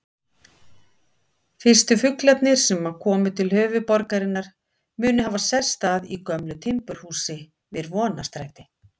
Fyrstu fuglarnir sem komu til höfuðborgarinnar munu hafa sest að í gömlu timburhúsi við Vonarstræti.